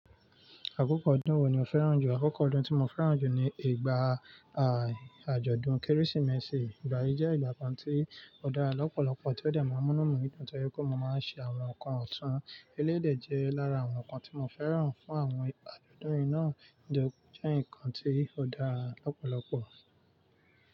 Àkókò ọdún wo ni o fẹ́ràn jù? Àkókò ọdún tí mo fẹ́ràn jù ni ìgbà, àjọ̀dún Kérésìmesì. Ìgbà yí jẹ́ ìgbà kan tí ó dára lọ́pọ̀lọpọ̀, tí ó dà mí múnú mí dùn nítorí pé mo máa ń ṣe àwọn nǹkan ọ̀tún. Eléyi dè jẹ́ lára àwọn nǹkan tí mo fẹ́ràn fún àwọn ìpàdé ọdún yìí náà. Ǹitori ó jẹ́ nǹkan tí ó dára lọ́pọ̀lọpọ̀?